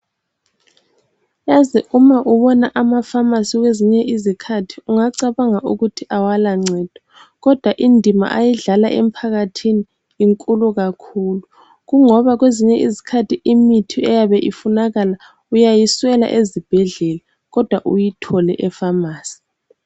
Yazi uma ubona amafamasi kwezinye izikhathi ungacabanga ukuthi awala ncedo kodwa indima ayidlala emphakathini inkulu kakhulu kungoba kwezinye izikhathi imithi eyabe ifunakala uyayiswela ezibhedlela kodwa uyithole efamasi.